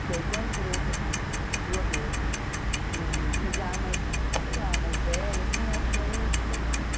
Porque aí com a experiência do aborto e já mais, sei lá, mais velha, assim, eu acho que aí é diferente.